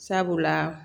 Sabula